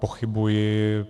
Pochybuji.